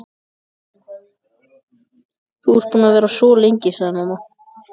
Þú ert búin að vera svo lengi, sagði mamma.